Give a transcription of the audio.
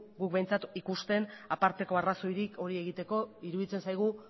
behintzat ikusten aparteko arrazoirik hori egiteko iruditzen zaigu